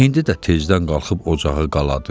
İndi də tezdən qalxıb ocağı qaladı.